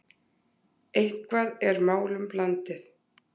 Eitthvað er málum blandið